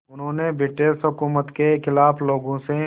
उन्होंने ब्रिटिश हुकूमत के ख़िलाफ़ लोगों से